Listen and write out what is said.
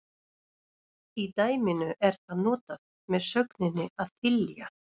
Í dæminu er það notað með sögninni að þylja.